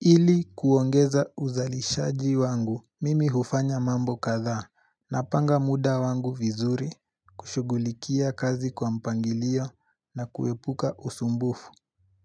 Ili kuongeza uzalishaji wangu mimi hufanya mambo kathaa na panga muda wangu vizuri kushugulikia kazi kwa mpangilio na kuepuka usumbufu